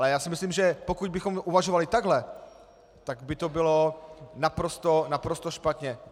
Ale já si myslím, že pokud bychom uvažovali takhle, tak by to bylo naprosto špatně.